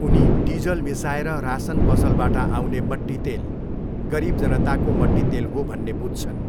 उनी डिजल मिसाएर रासन पसलबाट आउने मट्टितेल 'गरिब जनताको मट्टितेल हो' भन्ने बुझ्छन्।